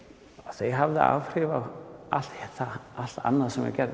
þær höfðu áhrif á allt allt annað sem ég gerði